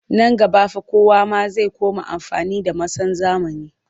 Nan gaba fa kowa ma zai koma amfani da masan zamani